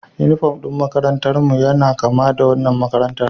Unifom ɗin makarantarmu yana kama da wannan makarantar